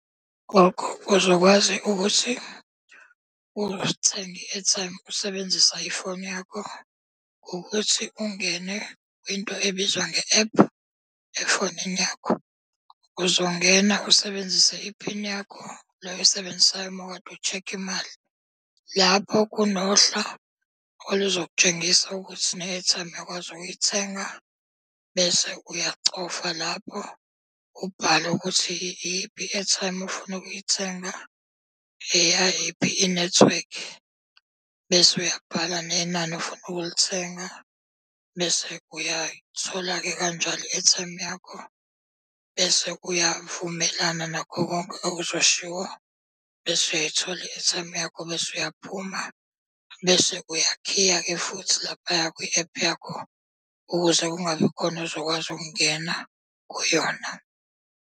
Gogo uzokwazi ukuthi uthenge i-airtime usebenzisa ifoni yakho, ukuthi ungene kwinto ebizwa nge-ephu efonini yakho. Uzongena usebenzise iphini yakho le oyisebenzisayo uma kade ushekha imali. Lapho kunohla oluzokutshengisa ukuthi ne-airtime uyakwazi ukuyithenga bese uyachofa lapho. Ubhale ukuthi iyiphi i-airtime ofuna ukuyithenga, eyayiphi inethiwekhi, bese uyabhala nenani ofuna ukulithenga. Bese uyayithola-ke kanjalo i-airtime yakho, bese uyavumelana nakho konke okuzoshiwo, bese uyayithola i-airtime yakho bese uyaphuma. Bese uyakhiya-ke futhi laphaya kwi-ephu yakho. Ukuze kungabi khona ozokwazi ukungena kuyona.